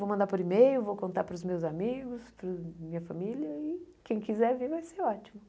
Vou mandar por e-mail, vou contar para os meus amigos, para a minha família e quem quiser vir vai ser ótimo.